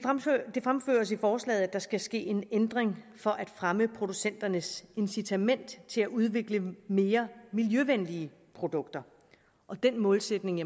det fremføres i forslaget at der skal ske en ændring for at fremme producenternes incitament til at udvikle mere miljøvenlige produkter den målsætning